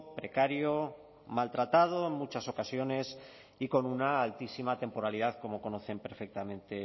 precario maltratado en muchas ocasiones y con una altísima temporalidad como conocen perfectamente